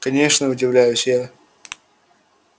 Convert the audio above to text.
конечно удивляюсь я